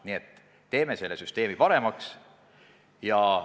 Nii et teeme selle süsteemi paremaks!